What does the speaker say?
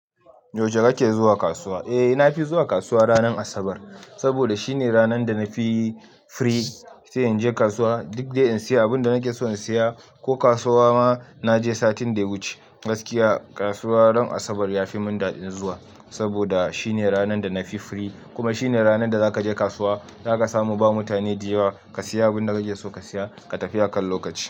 Yaushe kake zuwa kasuwa? Eh, na fi zuwa kasuwa ranar Asabar saboda shine ranar da na fi free sai in je kasuwa duk dai in sayi abin da nake so in saya. Ko kasuwa ma na je satin da ya wuce. Gaskiya kasuwa ran Asabar ya fi mun daɗin zuwa saboda shine ranar da na fi free kuma shine ranar da zaka je kasuwa zaka samu ba mutane da yawa ka sayi abin da kake so ka siya ka tafi akan lokaci.